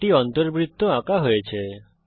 একটি অন্তবৃত্ত আঁকা হয়েছে